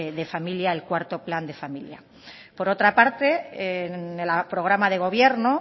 de familia el cuarto plan de familia por otra parte en el programa de gobierno